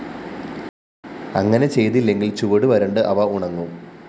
അങ്ങനെ ചെയ്തില്ലെങ്കില്‍ ചുവട് വരണ്ട് അവ ഉണങ്ങും